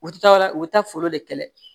U ti taa yɔrɔ wɛrɛ u bɛ taa foro de kɛlɛ